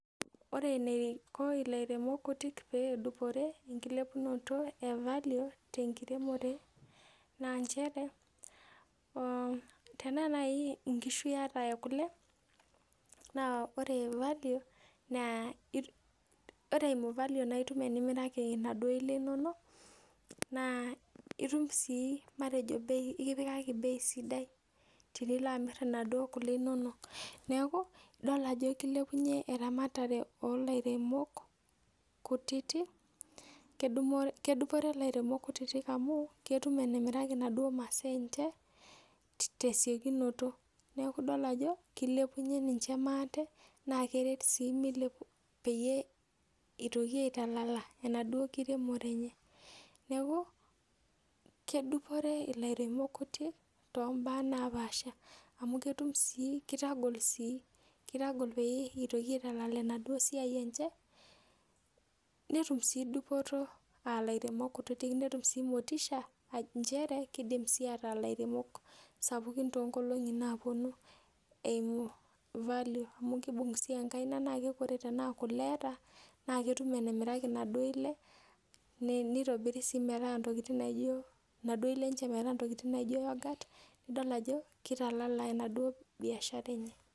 Ore eneiko ilairemok kutitik pedupore enkilepunoto e value tenkiremore naa nchere oh tenaa naaji inkishu iyata ekule naa ore value naa ore eimu value naitum enimiraki inaduo le inonok naa itum sii matejo bei ikipikaki bei sidai tinilo amirr inaduo kule inonok neeku idol ajo kilepunyie eramatare olairemok kutiti kedumore kedupore ilairemok kutitik amu ketum enemiraki inaduo masaa enche tesiokinoto neku idol ajo kilepunyie ninche maate naa keret sii mile peyie itoki aitalala enaduo kiremore enye neku kedupore ilairemok kuti tombaa napaasha amu ketum sii kitagol sii kitagol pee eitoki aitalala enaduo siai enche netum sii dupoto alairemok kutitik netum sii motisha nchere kidim sii ataa ilairemok sapukin tonkolong'i naponu eimu value amu kibung sii enkaina naa keku ore tenaa kule eeta na ketum enemiraki inadoi ile nei neitobiri sii metaa intokitin naijio naduo ile enche metaa intokitin naijio yoghurt nidol ajo kitalala enaduo biashara enye.